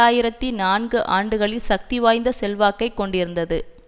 ஆயிரத்தி நான்கு ஆண்டுகளில் சக்திவாய்ந்த செல்வாக்கை கொண்டிருந்தது